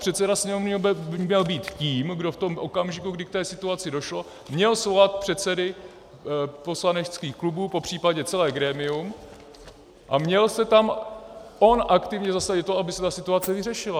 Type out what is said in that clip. Předseda Sněmovny by měl být tím, kdo v tom okamžiku, kdy k té situaci došlo, měl svolat předsedy poslaneckých klubů, popřípadě celé grémium, a měl se tam on aktivně zasadit o to, aby se ta situace vyřešila.